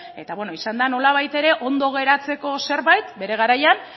eta izan da nolabait ere ondo geratzeko zerbait bere garaian